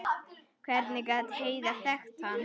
Hvernig gat Heiða þekkt hann?